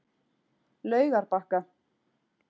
Laugarbakka